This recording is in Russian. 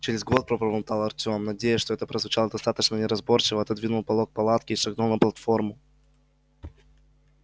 через год пробормотал артем надеясь что это прозвучало достаточно неразборчиво отодвинул полог палатки и шагнул на платформу